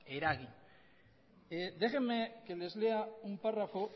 eragin déjenme que les lea un párrafo